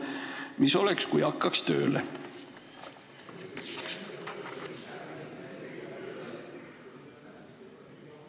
Mis oleks, kui hakkaks tööle?